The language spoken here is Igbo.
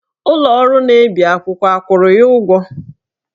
Ụlọ ọrụ na-ebi akwụkwọ akwụrụ ya ụgwọ?